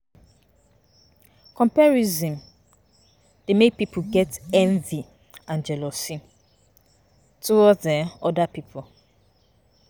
Comparison dey make pipo get envy and jealously towards oda um pipo